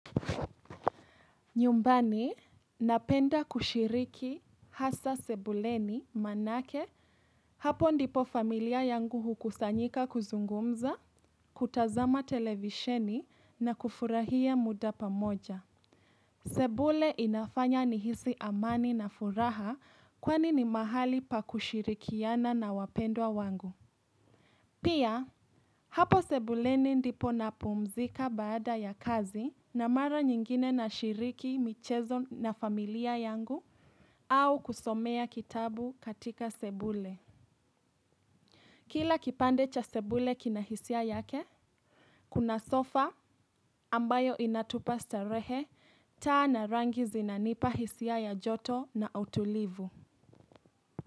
Nyumbani, napenda kushiriki hasa sebuleni maanake hapo ndipo familia yangu hukusanyika kuzungumza, kutazama televisheni na kufurahia muda pamoja. Sebule inafanya ni hisi amani na furaha kwani ni mahali pa kushirikiana na wapendwa wangu. Pia, hapo sebuleni ndipo napumzika baada ya kazi na mara nyingine nashiriki michezo na familia yangu au kusomea kitabu katika sebule. Kila kipande cha sebule kina hisia yake, kuna sofa ambayo inatupa starehe taa na rangi zinanipa hisia ya joto na utulivu.